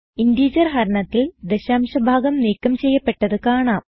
integer ഹരണത്തിൽ ദശാംശ ഭാഗം നീക്കം ചെയ്യപ്പെട്ടത് കാണാം